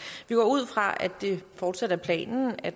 vi går ud fra at det fortsat er planen at